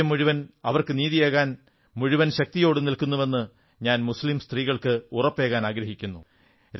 രാജ്യം മുഴുവൻ അവർക്കു നീതിയേകാൻ മുഴുവൻ ശക്തിയോടും നില്ക്കുന്നുവെന്ന് ഞാൻ മുസ്ളീം സ്ത്രീകൾക്ക് ഉറപ്പേകാനാഗ്രഹിക്കുന്നു